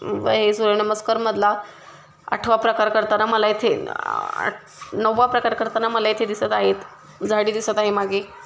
उभ हे सूर्यनमस्कार मधला आठवा प्रकार करताना मला इथे आह नववा प्रकार करताना मला इथे दिसत आहेत झाडी दिसत आहे मागे.